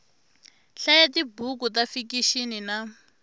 hlaya tibuku ta fikixini na